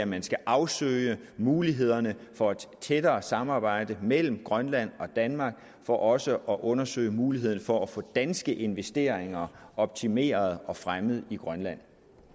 man skal afsøge mulighederne for et tættere samarbejde mellem grønland og danmark for også at undersøge mulighederne for at få danske investeringer optimeret og fremmet i grønland